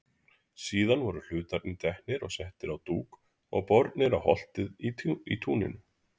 Síðan voru hlutarnir teknir og settir á dúk og bornir á holtið í túninu.